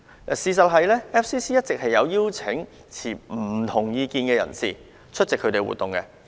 事實上，外國記者會以往一直有邀請持不同意見的人士出席活動。